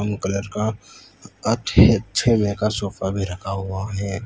Colour का अच्छे अच्छे में का सोफा भी रखा हुआ है।